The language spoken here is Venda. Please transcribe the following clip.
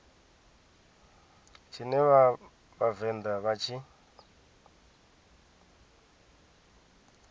tshine vha vhavenḓa vha tshi